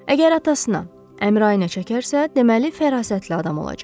Əgər atasına, Əmrayınə çəkərsə, deməli fərasətli adam olacaq.